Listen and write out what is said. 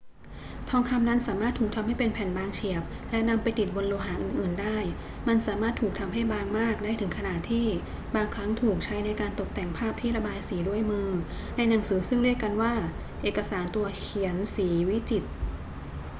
ทองคำนั้นสามารถถูกทำให้เป็นแผ่นบางเฉียบและนำไปติดบนโลหะอื่น ๆ ได้ มันสามารถถูกทำให้บางมากได้ถึงขนาดที่บางครั้งถูกใช้ในการตกแต่งภาพที่ระบายสีด้วยมือในหนังสือซึ่งเรียกกันว่า เอกสารตัวเขียนสีวิจิตร